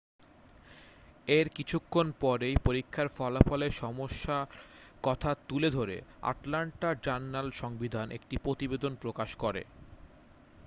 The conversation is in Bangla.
এর কিছুক্ষণ পরেই পরীক্ষা ফলাফলে সমস্যার কথা তুলে ধরে আটলান্টা-জার্নাল সংবিধান একটি প্রতিবেদন প্রকাশ করে